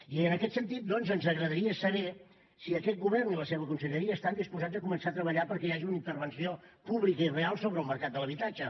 i en aquest sentit ens agradaria saber si aquest govern i la seva conselleria estan disposats a començar a treballar perquè hi hagi una intervenció pública i real sobre el mercat de l’habitatge